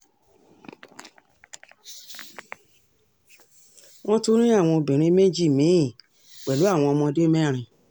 wọ́n tún rí àwọn obìnrin méjì mí-ín pẹ̀lú àwọn ọmọdé mẹ́rin